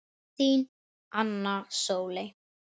Þín, Anna Sóley.